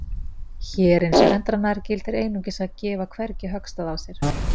Hér eins og endranær gildir einungis að gefa hvergi höggstað á sér.